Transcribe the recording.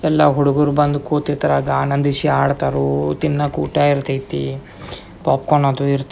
ಎಲ್ಲ ಹುಡ್ಗುರು ಬಂದ್ ಕೂತಿತರ ಗಾನಂದಿಷಿ ಆಡ್ತರು ತಿನ್ನಕ್ ಊಟ ಇರ್ತಯ್ತೆ ಪಾಪ್ಕಾರ್ನ್ ಅದು--